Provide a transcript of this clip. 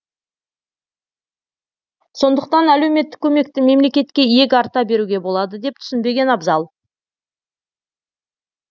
сондықтан әлеуметтік көмекті мемлекетке иек арта беруге болады деп түсінбеген абзал